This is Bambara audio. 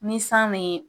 Ni san me